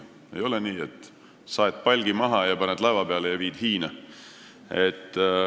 Ei ole nii, et saed puu maha, paned palgi laeva peale ja viid Hiina.